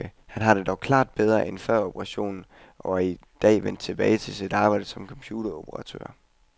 Han har det dog klart bedre end før operationen, og er i dag vendt tilbage til sit arbejde som computeroperatør.